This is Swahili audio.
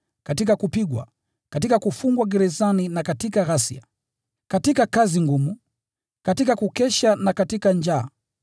katika kupigwa, katika kufungwa gerezani na katika ghasia; katika kazi ngumu, katika kukesha na katika kufunga;